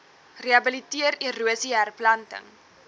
rehabiliteer erosie herplanting